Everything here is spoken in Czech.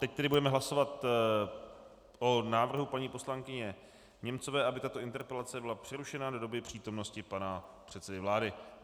Teď tedy budeme hlasovat o návrhu paní poslankyně Němcové, aby tato interpelace byla přerušena do doby přítomnosti pana předsedy vlády.